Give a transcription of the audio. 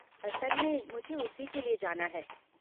असल में मुझे उसी के लिए जाना है।